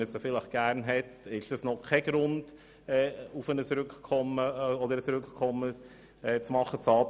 Es ist kein Grund für ein Rückkommen, wenn die Resultate nicht wie gewünscht ausgefallen sind.